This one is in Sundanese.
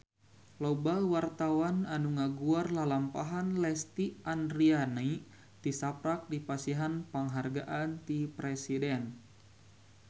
Loba wartawan anu ngaguar lalampahan Lesti Andryani tisaprak dipasihan panghargaan ti Presiden